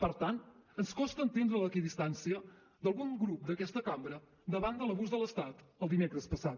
per tant ens costa entendre l’equidistància d’algun grup d’aquesta cambra davant de l’abús de l’estat el dimecres passat